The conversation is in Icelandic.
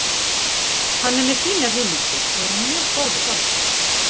Hann er með fínar hugmyndir og er mjög góður þjálfari.